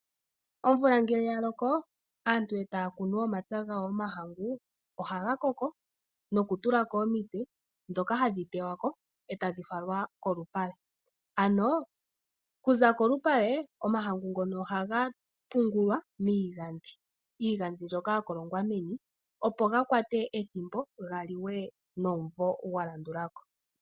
Omvula ngele ya loko, aantu e taya kunu omahangu momapya gawo ohaga koko nokutula ko omitse ndhoka hadhi tewa ko e tadhi falwa kolupale. Okuza kolupale omahangu ngoka ohaga pungulwa miigandhi, mbyoka ya kolongwa meni, opo ga kwate ethimbo ga liwe nomumvo gwa landula ko.